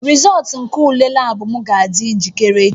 Rịzọụltụ ule lab m ga-adị njikere echi